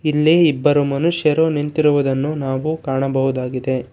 ಇಲ್ಲಿ ಇಬ್ಬರು ಮನುಷ್ಯರು ನಿಂತಿರುವುದನ್ನು ನಾವು ಕಾಣಬಹುದಾಗಿದೆ.